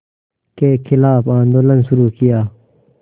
के ख़िलाफ़ आंदोलन शुरू किया